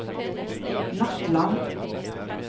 Nattland